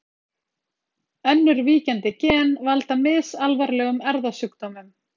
önnur víkjandi gen valda misalvarlegum erfðasjúkdómum